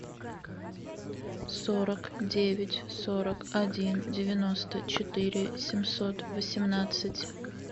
сорок девять сорок один девяносто четыре семьсот восемнадцать